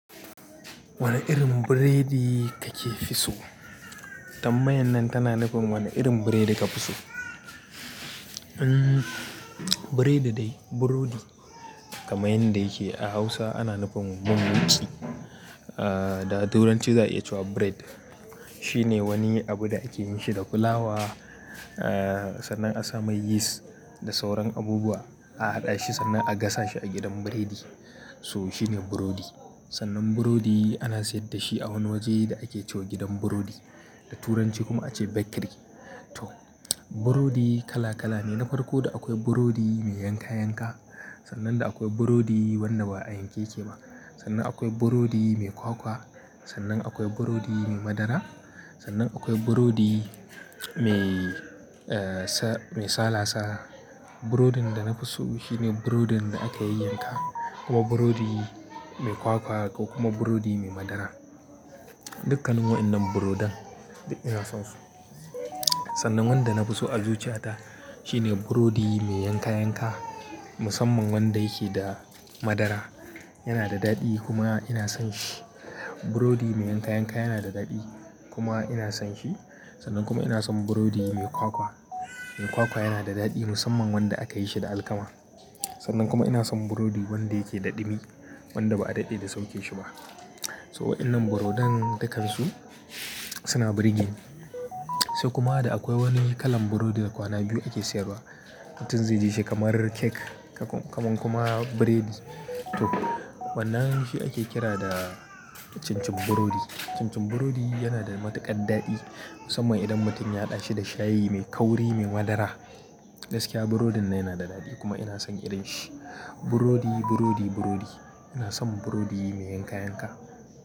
Wane irin burodi ka fi so? Ta tambayar nan tana nufin wane irin burodi ka fi so. Hmm, burodi dai, burodi kamar yadda yake a Hausa ana nufin "mun muki" ahhh, da Turanci za a iya ce wa bread. Shine wani abu da ake yin shi da fulawa, ahhh sannan a sa mai yis da sauran abubuwa, a haɗa shi sannan a gasa shi a gidan burodi. So shine burodi. Sannan burodi ana sayar da shi a wani waje da ake ce wa gidan burodi, da Turanci kuma ake ce bakery. To burodi kala kala ne, na farko da akwai burodi mai yanka yanka, sannan akwai burodi wanda ba a yanke yake ba. Sannan akwai burodi mai kwakwa, sannan akwai burodi mai madara, sannan akwai burodi mai eh sa-- mai salasala. Burodin da na fi so shine burodin da aka yai yanka kuma burodi mai kwakwa ko kuma burodi mai madara. Dukkanin waɗannan burodan ina son su. Sannan wanda na fi so a zuciya ta shine burodi mai yanka yanka, musamman wanda yake da madara. Yana da daɗi kuma ina son shi. Burodi mai yanka yanka yana da daɗi kuma ina son shi. Sannan kuma ina son burodi mai kwakwa. Mai kwakwa yana da daɗi musamman wanda aka yi shi da alkama. Sannan kuma ina son burodi wanda yake daɗimi, wanda ba a daɗe da sauke shi ba. So waɗannan burodan dukkan su suna burgeni. Sai kuma da akwai wani kalan burodi da kwana biyu ake sayarwa. Mutum zai ji shi kamar cake, kamar kuma burodi. To wannan shi ake kira da cincin burodi. Cincin burodi yana da matuƙar daɗi musamman idan mutum ya haɗa shi da shayi mai kauri mai madara. Gaskiya burodin yana da daɗi kuma ina son irin shi. Burodi, burodi, burodi. Ina son burodi mai yanka yanka.